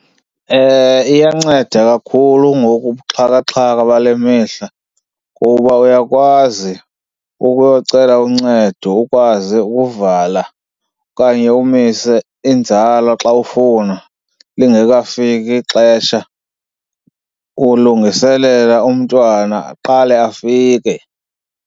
Iyanceda kakhulu ngoku ubuxhakaxhaka bale mihla kuba uyakwazi ukuyocela uncedo, ukwazi ukuvala okanye umise inzala xa ufuna lingekafiki ixesha, ulungiselela umntwana aqale afike.